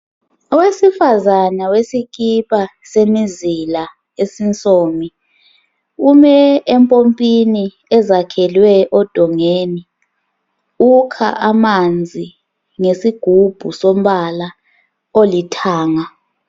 Owesifazana wesikipa semizila esinsomi ume empompini ezakhelwe odongeni ukha amanzi ngesigubhu esilombala olithanga.